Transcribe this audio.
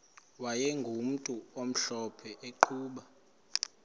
wayegumntu omhlophe eqhuba